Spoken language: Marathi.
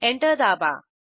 एंटर दाबा